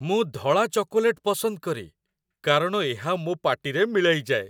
ମୁଁ ଧଳା ଚକୋଲେଟ୍ ପସନ୍ଦ କରେ କାରଣ ଏହା ମୋ ପାଟିରେ ମିଳାଇଯାଏ